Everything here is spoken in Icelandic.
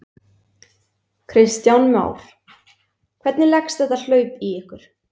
Kristján Már: Hvernig leggst þetta hlaup í ykkur?